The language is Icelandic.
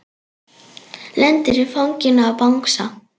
Lendir í fanginu á bangsa.